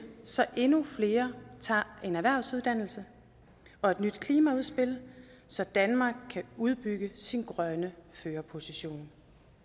så endnu flere tager en erhvervsuddannelse og et nyt klimaudspil så danmark kan udbygge sin grønne førerposition